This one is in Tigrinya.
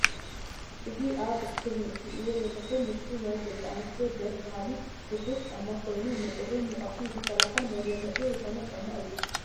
ኣዚ ኣብ እስክሪን እትሪእዎ ዘለኩ ምስሊ ናይ ደቂ ኣንስትዮ ደስ በሃሊ ቡቱስ ጫማ ኮይኑ ን ቁርን ሙቀትን ዘከላከል መዘነጢ ዝኮን ጫማ እዩ